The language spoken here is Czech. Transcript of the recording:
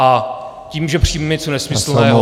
A tím, že přijmeme něco nesmyslného - nevím.